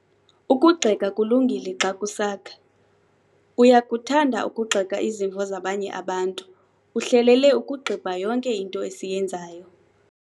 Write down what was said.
Ukugxeka kulungile xa kusakha. Uyakuthanda ukugxeka izimvo zabanye abantu, uhlelele ukugxibha yonke into esiyenzayo.